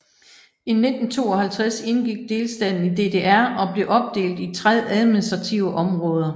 I 1952 indgik delstaten i DDR og blev opdelt i tre administrative områder